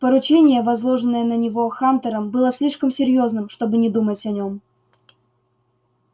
поручение возложенное на него хантером было слишком серьёзным чтобы не думать о нем